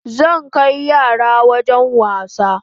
Zan kai yara wajen wasa